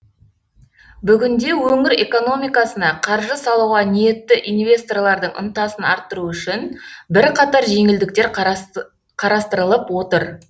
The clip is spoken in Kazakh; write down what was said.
бүгінде өңір экономикасына қаржы салуға ниетті инвесторлардың ынтасын арттыру үшін бірқатар жеңілдіктер қарастырылып отыр